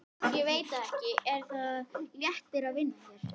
Ég veit það ekki Er það léttir að vinna hér?